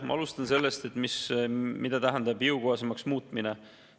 Ma alustan sellest, mida tähendab "jõukohasemaks muutmine".